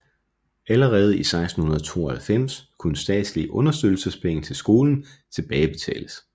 Allerede i 1692 kunne statslige understøttelsespenge til skolen tilbagebetales